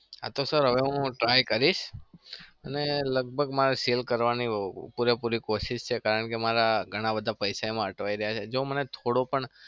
હા તો sir હવે હું try કરીશ અને લગભગ મારે sale કરવાની પુરેપુરી કોશિશ છે. કારણ કે મારા ઘણા બધા પૈસા છે એમાં અટવાઈ રહ્યા છે. જો મને થોડો પણ